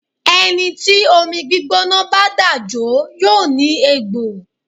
Ẹni tí omi gbígbóná bá dà jó yóò ní egbò.